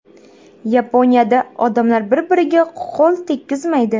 Yaponiyada odamlar bir-biriga qo‘l tekkizmaydi .